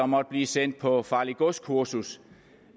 måtte blive sendt på farligt gods kursus